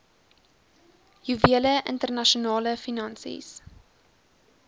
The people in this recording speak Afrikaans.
juwele internasionale finansies